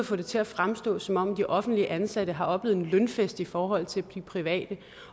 får det til at fremstå som om de offentligt ansatte har oplevet en lønfest i forhold til de private